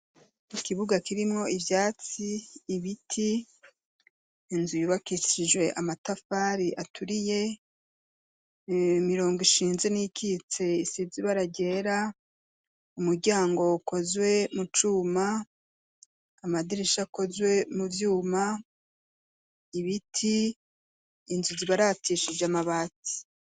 Ikibuga kirimwo ivyatsi ibiti ,inzu y’ubakishijwe amatafari aturiye ,imirongo ishinze n’iyikitse isize ibara ryera ,umuryango ukozwe mu cuma ,amadirisha akozwe mu vyuma ,ibiti ,inzu zibaratishije amabati.